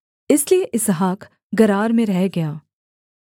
इसलिए Isaac Gerar में रह गया